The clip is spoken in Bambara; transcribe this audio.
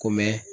Ko mɛ